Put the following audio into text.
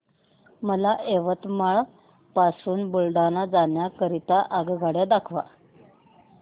मला यवतमाळ पासून बुलढाणा जाण्या करीता आगगाड्या दाखवा